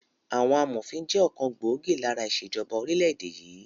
Àwọn amòfin jẹ́ ọ̀kan gbòógì lára ìṣèjọba orílẹ̀ èdè yìí